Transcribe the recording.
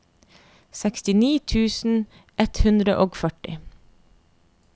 sekstini tusen ett hundre og førti